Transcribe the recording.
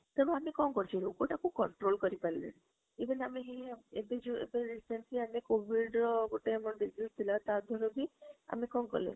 ସବୁ ଆମେ କଣ କରୁଛୁ ଲୋକ ତାକୁ control କରି ପାରିଲେଣି even ଆମେ ଏବେ ଯୋଉ recently ଆମେ COVID ର ଗୋଟେ disease ଥିଲା ତା ଦ୍ବାରା କି ଆମେ କଣ କଲେ?